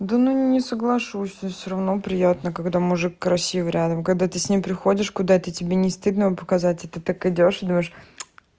да ну не соглашусь но всё равно приятно когда мужик красивый рядом когда ты с ним приходишь куда и тебе не стыдно его показать и ты так идёшь и думаешь